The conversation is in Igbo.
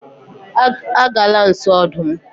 agala nso odum